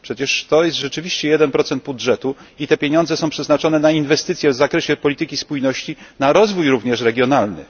Przecież to jest rzeczywiście 1 budżetu i te pieniądze są przeznaczone na inwestycje w zakresie polityki spójności na rozwój również regionalny.